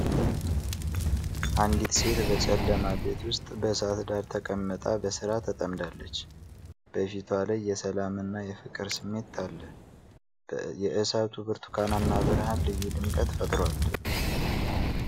አንዲት ሴት በጨለማ ቤት ውስጥ በእሳት ዳር ተቀምጣ በሥራ ተጠምዳለች። በፊቷ ላይ የሰላምና የፍቅር ስሜት አለ። የእሳቱ ብርቱካናማ ብርሃን ልዩ ድምቀት ፈጥሯል።